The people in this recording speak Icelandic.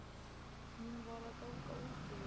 Hún var að ganga úti við.